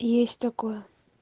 есть такое